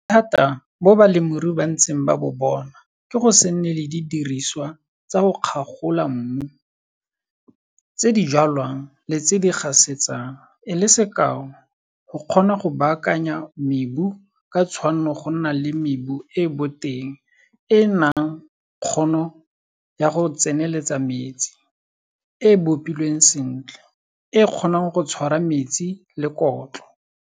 Bothata bo balemirui ba ntseng ba bo bona ke go se nne le didiriswa tsa go kgagola mmu, tse di jwalang le tse di gasetsang, e le sekao, go kgona go baakanya mebu ka tshwanno go nna le mebu e e boteng e e nang kgono ya go tseneletsa metsi, e e bopilweng sentle, e e kgonang go tshwara metsi le kotlo.